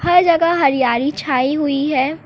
क जगह हरियाली छाई हुई है।